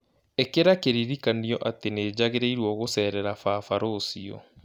ĩkĩra kĩririkanio atĩ nĩ njagĩrĩirũo gũceerera baba rũciũ